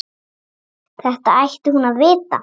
Þetta ætti hún að vita.